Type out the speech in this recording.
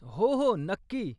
हो, हो, नक्की.